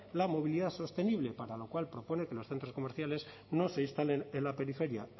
la movilidad sostenible para lo cual propone que los centros comerciales no se instalen en la periferia